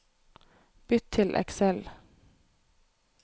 Bytt til Excel